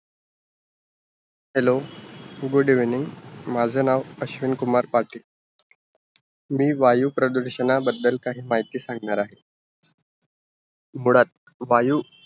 Hello, good evening! माझं नाव अश्विन कुमार पाटील. मी वायुप्रदूषणाबद्दल काही माहिती सांगणार आहे. मुळात वायू